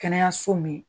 Kɛnɛyaso min